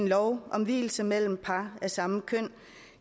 lov om vielser mellem par af samme køn